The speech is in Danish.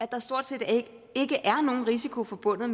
der stort set ikke er nogen risiko forbundet